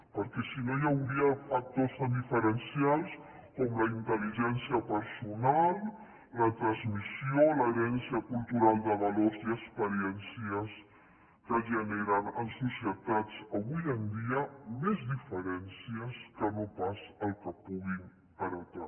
perquè si no hi hauria factors tan diferencials com la intel·ligència personal la transmissió l’herència cultural de valors i experiències que generen en societats avui en dia més diferències que no pas el que puguin heretar